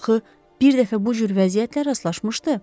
Axı bir dəfə bu cür vəziyyətlə rastlaşmışdı.